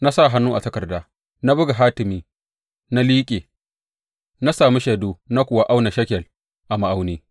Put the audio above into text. Na sa hannu a takarda, na buga hatimi na liƙe, na sami shaidu na kuwa auna shekel a ma’auni.